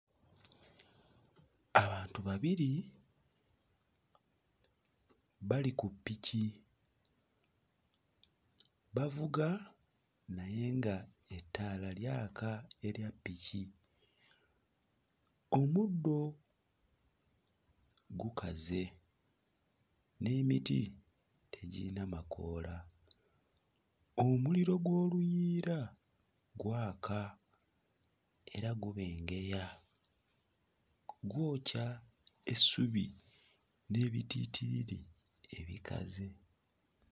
Abantu babiri bali ku ppiki bavuga naye ng'ettaala lyaka erya ppiki, omuddo gukaze n'emiti tegiyina makoola, omuliro gw'oluyiira gwaka era gubengeya gwokya essubi n'ebitittiriri ebikaze.